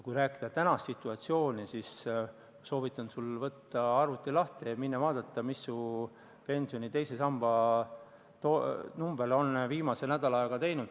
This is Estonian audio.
Mis puutub praegusesse situatsiooni, siis soovitan sul arvuti lahti võtta ja vaadata, mida su pensioni teise samba number on viimase nädala ajaga teinud.